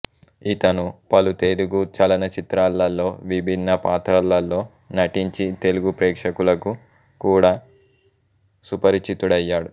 ఇతను పలు తెలుగు చలనచిత్రాలలో విభిన్నపాత్రలలో నటించి తెలుగు ప్రేక్షకులకు కూడా సుపరిచితుడయ్యాడు